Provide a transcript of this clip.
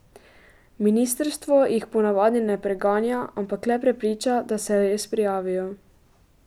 Ministrstvo jih ponavadi ne preganja, ampak le prepriča, da se res prijavijo.